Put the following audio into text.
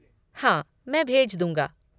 हाँ, मैं भेज दूँगा।